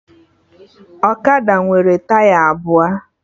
Ọkada nwere taya abụọ